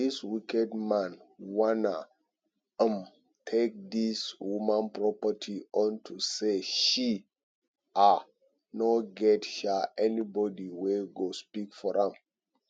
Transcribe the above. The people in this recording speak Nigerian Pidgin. dis wicked man wan um take dis woman property unto say she um no get um anybody wey go speak for am